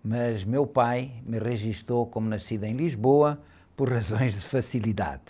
mas meu pai me registou como nascido em Lisboa por razões de facilidade.